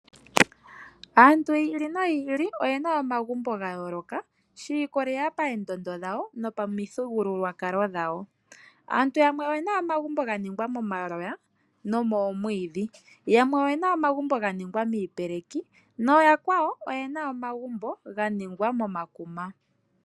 Aantu yi ili noyi ili oyena omagumbo gayoloka shi ikwatelela payendondo dhawo nopamithigululwakalo dhawo. Aantu yamwe oyena omagumbo ga ningwa momaloya nomoomwiidhi. Yamwe oyena omagumbo ga ningwa miipeleki. Noo yakwawo oyena omagumbo ga ningwa momakuma.